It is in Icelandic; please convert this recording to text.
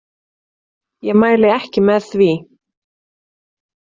Ég mæli ekki með því.